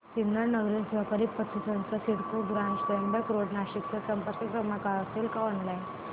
सिन्नर नागरी सहकारी पतसंस्था CIDCO branch Trimbak road Nashik चा संपर्क क्रमांक असेल का ऑनलाइन